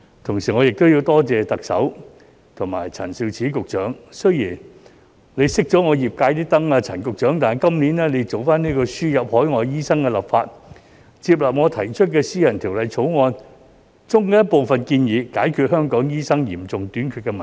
同時我亦要多謝特首和陳肇始局長，雖然陳局長熄了業界的燈，但今年做輸入海外醫生的立法，接納我提出的私人條例草案中的部分建議，解決香港醫生嚴重短缺的問題。